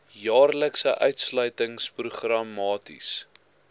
jaarlikse uitsluiting programmaties